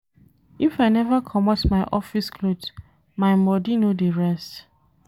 If I neva comot my office cloth, my bodi no dey rest.